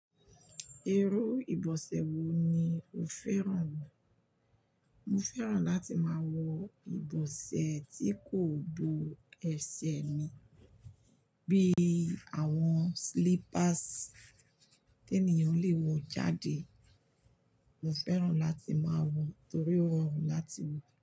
Irú ìbọ̀sẹ̀ wo ni o fẹ́ràn? Mo fẹ́ràn láti máa wọ ìbọ̀sẹ̀ tí kò bo ẹsẹ̀ mi, bí àwọn slippers tí ènìyàn lè wọ jáde. Mo fẹ́ràn láti máa wọ, torí ó rọrùn láti wọ.